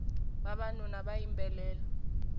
vavanuna va yimbelela